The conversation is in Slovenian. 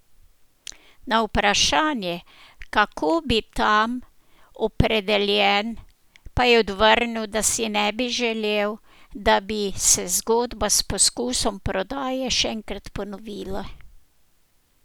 Na vprašanje, kako bi bil tam opredeljen, pa je odvrnil, da si ne bi želel, da bi se zgodba s poskusom prodaje še enkrat ponovila.